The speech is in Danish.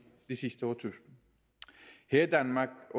sidste årtusinder her i danmark